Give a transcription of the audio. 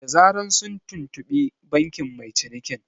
Da zaran sun tuntuɓi bankin mai cinikin